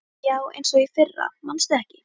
Já, eins og í fyrra manstu ekki?